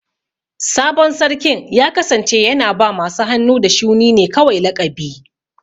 Sabon Sarkin ya kasance yana ba masu hannu da shuni ne kawai laƙabi.